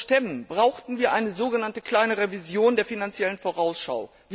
Euro zu stemmen, brauchten wir eine so genannte kleine Revision der Finanziellen Vorausschau.